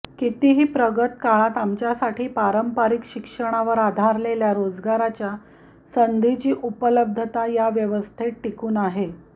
कितीही प्रगत काळात आमच्यासाठी पारंपारिक शिक्षणावर आधारलेल्या रोजगाराच्या संधीची उपलब्धता या व्यवस्थेत टिकून आहे